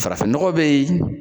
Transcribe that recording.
Farafin nɔgɔ be yen